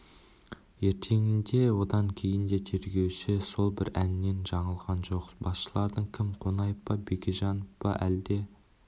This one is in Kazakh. ертеңінде де одан кейін де тергеуші сол бір әннен жаңылған жоқ басшыларың кім қонаев па бекежанов па әлде